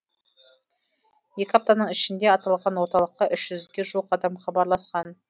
екі аптаның ішінде аталған орталыққа үш жүзге жуық адам хабарласқан